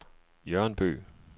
Jørn Bøgh